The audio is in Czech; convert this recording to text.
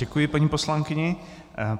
Děkuji paní poslankyni.